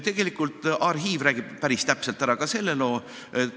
Tegelikult räägib arhiiv päris täpselt ära ka selle loo.